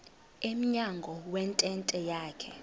emnyango wentente yakhe